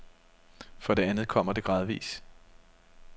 For det andet kommer det gradvis.